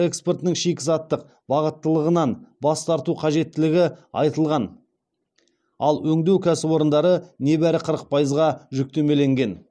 экспортының шикізаттық бағыттылығынан бас тарту қажеттігі айтылған ал өңдеу кәсіпорындары небәрі қырық пайызға жүктемеленген